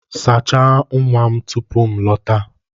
Sachaa nwa m tupu m lọta.